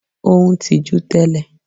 Ó ń tijú tẹ́lẹ̀.